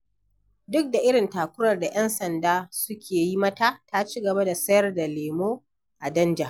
Duk da irin takurar da ‘yan sanda suke yi mata, ta ci gaba da sayar da lemo a danja.